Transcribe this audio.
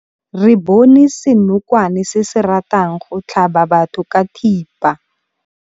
Re bone senokwane se se ratang go tlhaba batho ka thipa.